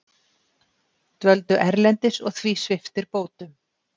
Dvöldu erlendis og því sviptir bótum